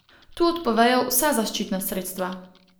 Tu odpovejo vsa zaščitna sredstva.